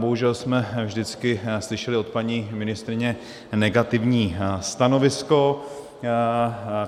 Bohužel jsme vždycky slyšeli od paní ministryně negativní stanovisko.